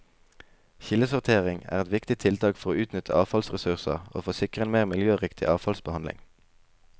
Kildesortering er et viktig tiltak for å utnytte avfallsressurser og for å sikre en mer miljøriktig avfallsbehandling.